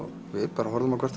bara horfðum hvort